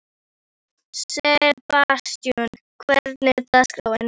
Sebastian, hvernig er dagskráin?